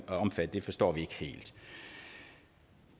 omfattet forstår vi ikke helt